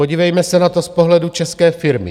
Podívejme se na to z pohledu české firmy.